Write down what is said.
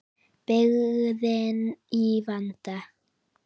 Byggðin í vanda.